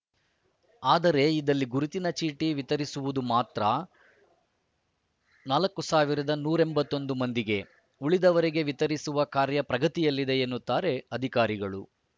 ಆದರೆ ಇದಲ್ಲಿ ಗುರುತಿನ ಚೀಟಿ ವಿತರಿಸಿರುವುದು ಮಾತ್ರ ನಾಲ್ಕುಸಾವಿರದ ನೂರ ಎಂಬತ್ತ್ ಒಂದು ಮಂದಿಗೆ ಉಳಿದವರಿಗೆ ವಿತರಿಸುವ ಕಾರ್ಯ ಪ್ರಗತಿಯಲ್ಲಿದೆ ಎನ್ನುತ್ತಾರೆ ಅಧಿಕಾರಿಗಳು